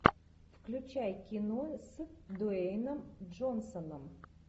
включай кино с дуэйном джонсоном